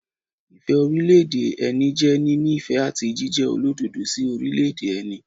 Ìfẹ́ orílẹ̀- èdè ẹni jẹ́ níní ìfẹ́ àti jíjẹ olódodo sí orílẹ̀- èdè ẹni.